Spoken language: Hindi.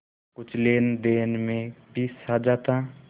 कुछ लेनदेन में भी साझा था